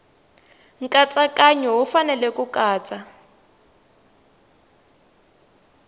nkatsakanyo wu fanele ku katsa